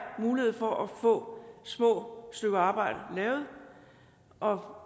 mulighed for at få små stykker arbejde lavet og